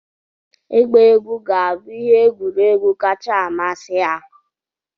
Ịgba egwu ga-abụ ihe egwuregwu kacha amasị ha.